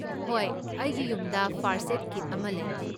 ꯍꯣꯏ, ꯑꯩꯒꯤ ꯌꯨꯝꯗ ꯐꯔꯁꯠ ꯑꯦꯗ ꯀꯤꯠ ꯑꯃ ꯂꯩ꯫